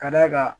Ka d'a kan